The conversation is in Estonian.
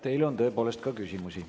Teile on tõepoolest ka küsimusi.